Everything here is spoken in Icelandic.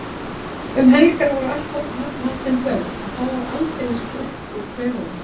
Um helgar voru alltaf haldin böll og þá var aldeilis slett úr klaufunum.